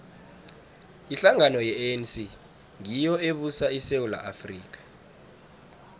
ihlangano ye anc ngiyo ebusa isewula afrika